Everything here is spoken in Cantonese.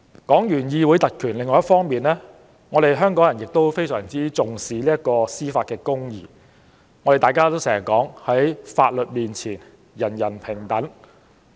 另一方面，香港人非常重視司法公義，大家經常說："在法律面前，人人平等"。